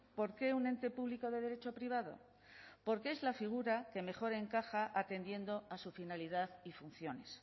por qué un ente público de derecho privado porque es la figura que mejor encaja atendiendo a su finalidad y funciones